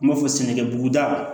N b'a fɔ sɛnɛkɛbugudaw